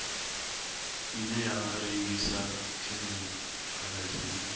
ine ya rengisa khemikhala dzine